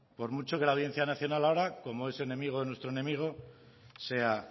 por mucho que la audiencia nacional ahora como es enemigo de nuestro enemigo sea